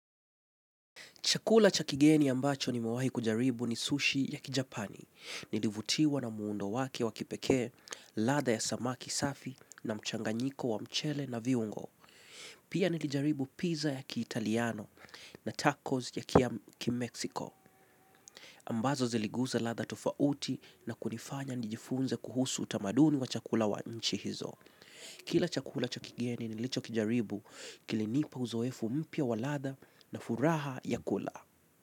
Chakula chakigeni ambacho ni mewahi kujaribu ni sushi ya kijapani. Nilivutiwa na muundo wake wakipekee, ladha ya samaki safi na mchanganyiko wa mchele na viungo. Pia nilijaribu pizza ya ki Italiano na tacos ya ki Mexico. Ambazo ziliguza ladha tofauti na kunifanya nijifunze kuhusu utamaduni wa chakula wa nchi hizo. Kila chakula chakigeni nilicho kijaribu kilinipa uzoefu mpya wa ladha na furaha ya kula.